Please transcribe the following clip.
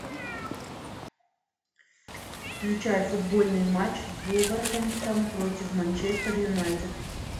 включай футбольный матч вулверхэмптон против манчестер юнайтед